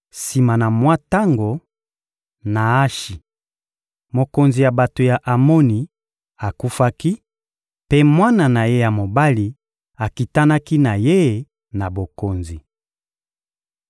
Sima na mwa tango, Naashi, mokonzi ya bato ya Amoni, akufaki, mpe mwana na ye ya mobali akitanaki na ye na bokonzi.